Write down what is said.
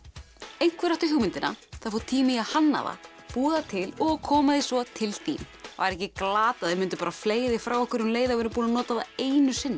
einhver átti hugmyndina það fór tími í að hanna það búa það til og koma því svo til þín væri ekki glatað að við myndum fleygja því frá okkur um leið og við erum búin að nota það einu sinni